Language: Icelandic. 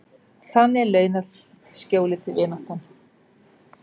Þannig launað skjólið, vináttan.